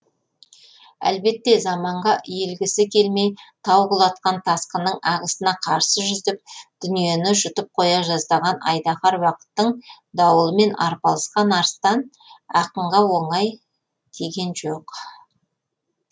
әлбетте заманға иілгісі келмей тау құлатқан тасқынның ағысына қарсы жүзіп дүниені жұтып қоя жаздаған айдаһар уақыттың дауылымен арпалысқан арыстан ақынға оңай тиген жоқ